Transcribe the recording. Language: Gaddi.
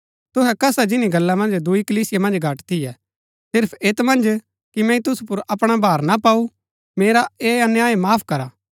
तुहै कसा जिनी गल्ला मन्ज दूई कलीसिया मन्ज घट थियै सिर्फ ऐत मन्ज कि मैंई तुसु पुर अपणा भार ना पाऊ मेरा ऐह अन्याय माफ करा